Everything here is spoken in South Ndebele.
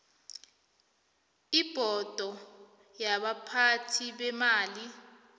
ibhodo yabaphathi beemali